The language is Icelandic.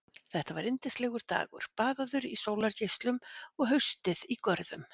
Þetta var yndislegur dagur, baðaður í sólargeislum og haustið í görðum.